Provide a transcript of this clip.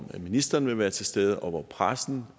ministeren vil være til stede og hvor pressen